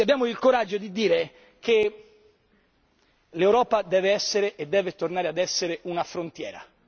Se abbiamo il coraggio di dire che l'Europa deve essere e deve tornare ad essere una frontiera.